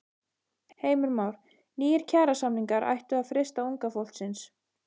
Heimir Már: Nýir kjarasamningar ættu að freista unga fólksins?